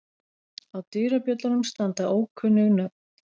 Á dyrabjöllunum standa ókunnug nöfn.